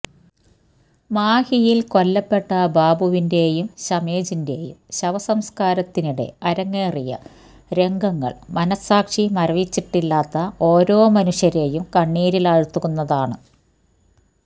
മാഹിയില് കൊല്ലപ്പെട്ട ബാബുവിന്റെയും ശമേജിന്റെയും ശവസംസ്ക്കാരത്തിനിടെ അരങ്ങേറിയ രംഗങ്ങള് മനസ്സാക്ഷി മരവിച്ചിട്ടില്ലാത്ത ഓരോ മനുഷ്യരെയും കണ്ണീരിലാഴ്ത്തുന്നതാണ്